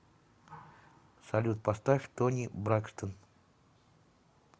салют поставь тони бракстон